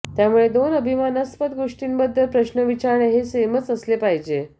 त्यामुळे दोन अभिमानास्पद गोष्टींबद्दल प्रश्न विचारणे हे सेमच असले पाहिजे